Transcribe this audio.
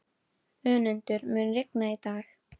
Önundur, mun rigna í dag?